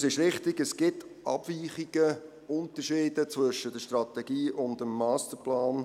Es ist richtig, es gibt Abweichungen, Unterschiede zwischen der Strategie und dem Masterplan.